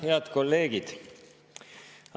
Head kolleegid!